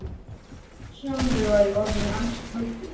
Sjálfur var ég orðinn ansi kaldur.